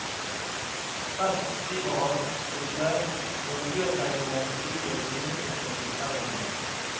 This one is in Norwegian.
Best skriver han, synes jeg, når miljøtegningen får utgjøre tyngdepunktet i fortellingen.